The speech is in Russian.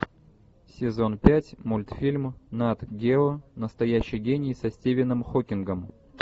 сезон пять мультфильм нат гео настоящий гений со стивеном хокингом